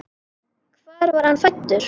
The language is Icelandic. Hvar var hann fæddur?